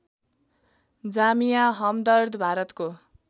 जामिया हमदर्द भारतको